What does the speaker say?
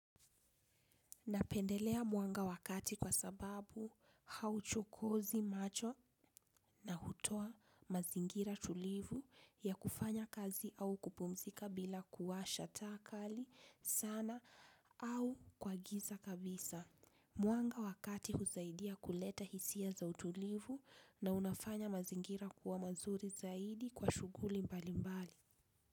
Napendelea mwanga wa kati kwa sababu hauchokozi macho na hutoa mazingira tulivu ya kufanya kazi au kupumzika bila kuwasha taa kali sana au kwa giza kabisa. Mwanga wa kati husaidia kuleta hisia za utulivu na unafanya mazingira kuwa mazuri zaidi kwa shuguli mbali mbali.